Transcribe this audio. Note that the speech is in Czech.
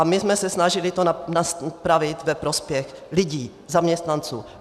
A my jsme se snažili to napravit ve prospěch lidí, zaměstnanců.